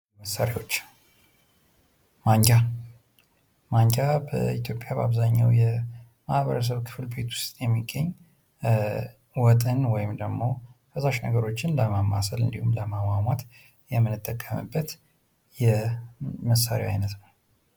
መሣሪያዎች ማንኪያ ማንኪያ በኢትዮጵያ በአብዛኛው ማበረሰብ ቤት ውስጥ የሚገኝ ወጥን ወይም ደግሞ ፈሳሽ ነገሮችን ለማማሰል እንዲሁም ደግሞ ለማሟሟት የምንጠቀምበት የመሳርያ አይነት ነው ::